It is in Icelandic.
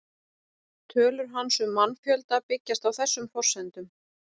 Tölur hans um mannfjölda byggjast á þessum forsendum.